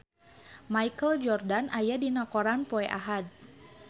Michael Jordan aya dina koran poe Ahad